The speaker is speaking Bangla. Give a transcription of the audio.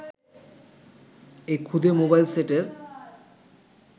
এই ক্ষুদে মোবাইল সেটের